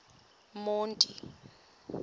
monti